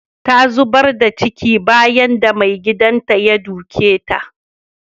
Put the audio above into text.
Ta zubar da ciki bayan da maigidan ya duke ta.